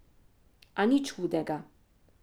A nič hudega.